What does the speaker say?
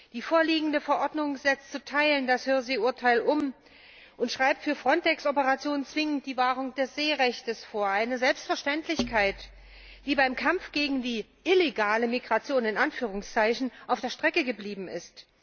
Die vorliegende Verordnung setzt zu Teilen das Hohe See Urteil um und schreibt für FRONTEX Operationen zwingend die Wahrung des Seerechts vor eine Selbstverständlichkeit, die beim Kampf gegen die illegale Migration auf der Strecke geblieben ist.